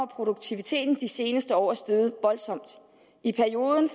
produktiviteten de seneste år er steget voldsomt i perioden